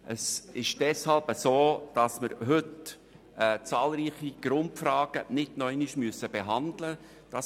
Es ist deshalb so, dass wir heute zahlreiche Grundfragen nicht noch einmal behandeln müssen.